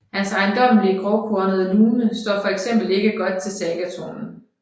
Hans ejendommelige grovkornede Lune står for eksempel ikke godt til sagatonen